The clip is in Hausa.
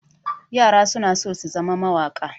Yara suna so su zama mawaƙa.